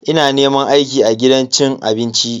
Ina neman aiki a gidan cin abinci.